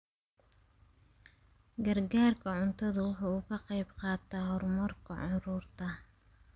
Gargaarka cuntadu waxa uu ka qayb qaataa horumarka carruurta.